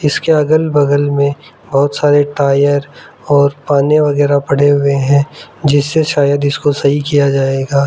इसके अगल बगल में बहुत सारे टायर और पाने वगैरह पड़े हुए हैं जिससे शायद इसको सही किया जाएगा।